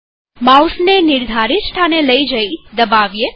માઉસને નિર્ધારિત સ્થાને લઇ જઈ દબાવો